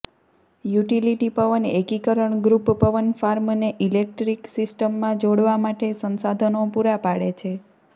utility પવન એકીકરણ group પવન ફાર્મને ઇલેક્ટ્રિક સિસ્ટમમાં જોડવા માટે સંસાધનો પૂરા પાડે છે